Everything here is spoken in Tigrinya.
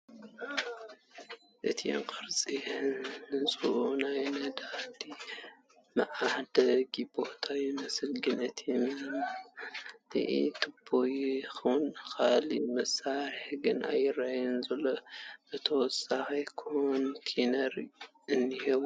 እቲ ቕርፂ ህንፅኡ ናይ ነዳዲ መዓደሊ ቦታ ይመስል ግን እቲ መምልኢ ቱቦ ይኹን ካሊእ መሳርሒ ግን ኣይረኣይን ዘሎ ፣ ብተወሳኺ ካሪተሪያ እንሄዎ ።